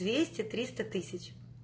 двести триста тысяч